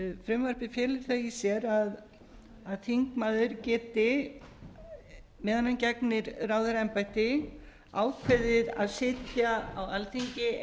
frumvarpið felur það í sér að þingmaður geti meðan hann gegnir ráðherraembætti ákveðið að sitja á alþingi